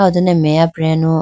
ah ho done meya preyanu.